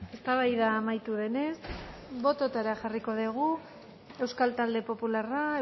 eztabaida amaitu denez bototara jarriko dugu euskal talde popularra